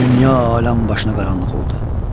Dünya aləm başına qaranlıq oldu.